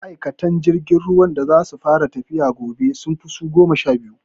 Ma'aikatan jirgin ruwan da zai fara tafiya gobe, sun fi su goma sha biyu.